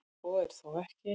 Svo er þó ekki.